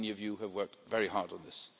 Many of you have worked very hard on this.